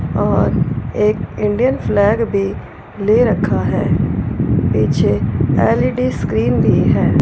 और एक Indian flag भी ले रखा है पीछे एल_ई_डी स्क्रीन भी है।